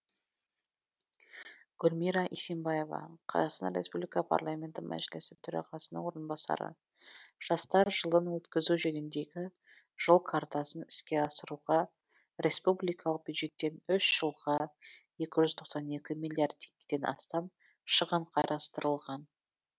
гүлмира исимбаева қазақстан республика парламенті мәжілісі төрағасының орынбасары жастар жылын өткізу жөніндегі жол картасын іске асыруға республикалық бюджеттен үш жылға екі жүз тоқсан екі миллиард теңгеден астам шығын қарастырылған